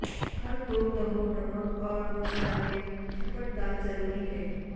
ہر دو تہوں نمک اور مصالحے شفٹ ڈال ضروری ہے